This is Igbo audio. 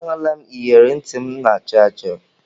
Ee, ahụla m iyeri ntị m na-achọ achọ.